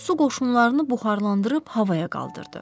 Su qoşunlarını buxarlandırıb havaya qaldırdı.